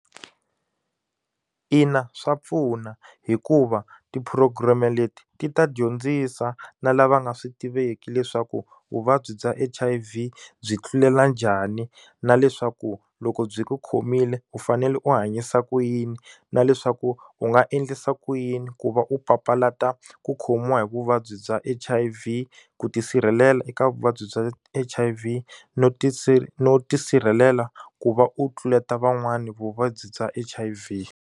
Ina swa pfuna hikuva ti-program leti ti ta dyondzisa na lava nga swi tiveki leswaku vuvabyi bya H_I_V byi tlulela njhani na leswaku loko byi ku khomile u fanele u hanyisa ku yini na leswaku u nga endlisa ku yini ku va u papalata ku khomiwa hi vuvabyi bya H_I_V ku tisirhelela eka vuvabyi bya H_I_V no no tisirhelela ku va u tluleta van'wana vuvabyi bya H_I_V.